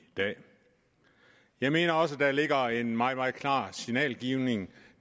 dag jeg mener også at der ligger en meget meget klart signalgivning